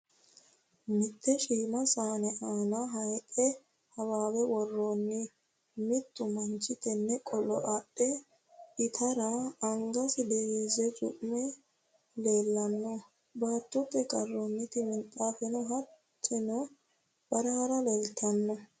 Mitte shiima saane aana hayixu hawaawe worroonni. Mittu manchi tenne qolo adhe itara angasi diriirse cu'manni leellanno. Baatoote karroonniti minxaafeno hattonni barra leeltanno.